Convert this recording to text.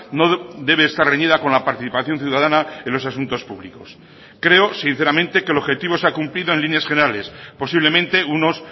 no debe estar reñida con la participación ciudadana en los asuntos públicos creo sinceramente que el objetivo se ha cumplido en líneas generales posiblemente unos